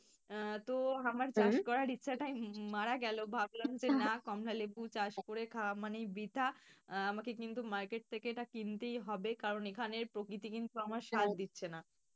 আহ তো আমার ইচ্ছাটাই মারা গেল ভাবলাম যে না কমলালেবু চাষ করে খাওয়া মানেই বৃথা। আহ আমাকে কিন্তু market থেকে এটা আমাকে কিনতেই হবে। কারণ এখানের প্রকৃতি কিন্তু আমার সাথ দিচ্ছে না।